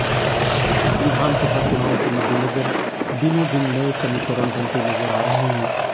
विधानसभा चुनावों के मद्देनजर दिनों दिन नये समीकरण बनते नजर आ रहे हैं